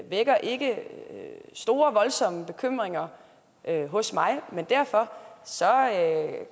vækker ikke store voldsomme bekymringer hos mig men derfor